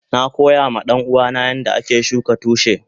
Na koya ma danuwa na yanda ake shuka tushi.